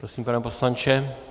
Prosím, pane poslanče.